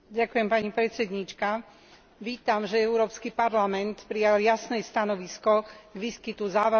Vítam, že Európsky parlament prijal jasné stanovisko k výskytu závažného infekčného ochorenia.